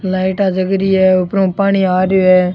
लाइटाँ जग री है ऊपर में पानी आ रेहो है।